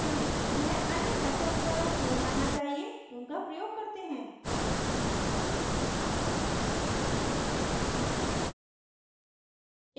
यह अन्य methods द्वारा किया जाना चाहिए उनका प्रयोग करते हैं